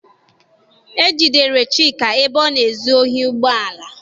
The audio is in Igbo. E jidere Chika ebe ọ na-ezu ohi ụgbọala.